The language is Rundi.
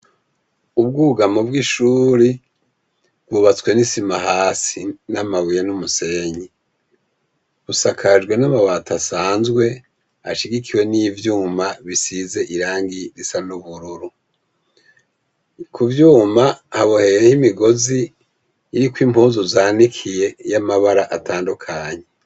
Ubwugamo bw’ishure bwubatswe n’isima hasi n’amabuye n’umusenyi busakajwe n’amabati asanzwe ashigikiwe n’ivyuma bisize irangi risa n’ubururu kuvyuma haboheyeho imigozi iriko impuzu zanikiye z’amabara atandukanye.